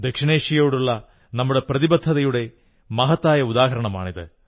ദക്ഷിണേഷ്യയോടുള്ള നമ്മുടെ പ്രതിബദ്ധതയുടെ മഹത്തായ ഉദാഹരണമാണിത്